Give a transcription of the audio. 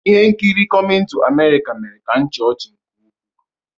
Ihe nkiri "Coming to America" ​​mere ka m chịa ọchị nke ukwuu.